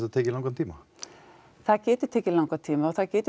tekið langan tíma það getur tekið langan tíma og það getur